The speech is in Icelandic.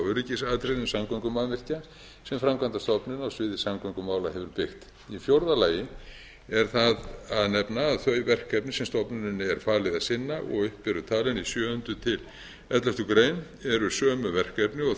öryggisatriðum samgöngumannvirkja sem framkvæmdastofnun á sviði samgöngumála hefur byggt í fjórða lagi er það að nefna að þau verkefni sem stofnuninni er falið að sinna og upp eru talin í sjöunda til elleftu greinar eru sömu verkefni og